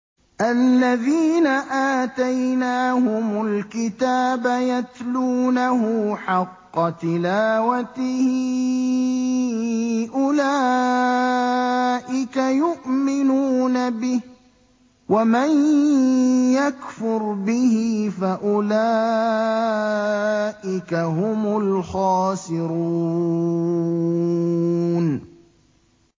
الَّذِينَ آتَيْنَاهُمُ الْكِتَابَ يَتْلُونَهُ حَقَّ تِلَاوَتِهِ أُولَٰئِكَ يُؤْمِنُونَ بِهِ ۗ وَمَن يَكْفُرْ بِهِ فَأُولَٰئِكَ هُمُ الْخَاسِرُونَ